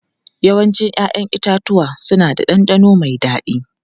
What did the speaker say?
Yawancin 'ya'yan itatuwa suna da ɗanɗano mai dadi.